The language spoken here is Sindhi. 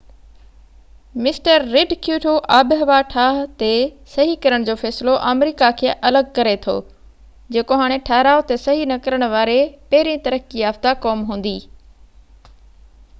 مسٽر رڊ ڪيوٽو آبهوا ٺاه تي صحي ڪرڻ جو فيصلو آمريڪا کي الڳ ڪري ٿو جيڪو هاڻي ٺهراءُ تي صحي نہ ڪرڻ واري پهرين ترقي يافتہ قوم هوندي